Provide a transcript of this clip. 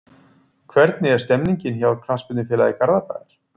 Hvernig er stemningin hjá Knattspyrnufélagi Garðabæjar?